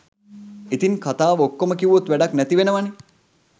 ඉතින් කතාව ඔක්කොම කිව්වොත් වැඩක් නැතිවෙනවනේ